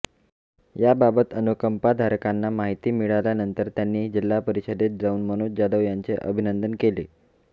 याबाबत अनुकंपाधारकांना माहिती मिळाल्यानंतर त्यांनी जिल्हा परिषदेत जाऊन मनोज जाधव यांचे अभिनंदन केले